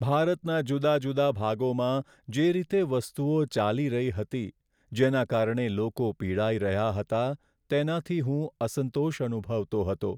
ભારતના જુદા જુદા ભાગોમાં જે રીતે વસ્તુઓ ચાલી રહી હતી જેના કારણે લોકો પીડાઈ રહ્યા હતા તેનાથી હું અસંતોષ અનુભવતો હતો.